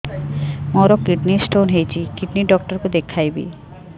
ମୋର kidney stone ହେଇଛି kidney doctor କୁ ଦେଖାଇବି